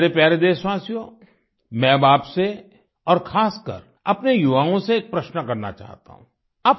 मेरे प्यारे देशवासियो मैं अब आपसे और खासकर अपने युवाओं से एक प्रश्न करना चाहता हूँ